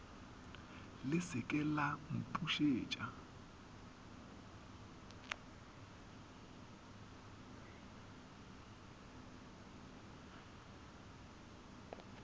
le se ke la mpušetša